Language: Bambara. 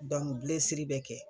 bɛ kɛ.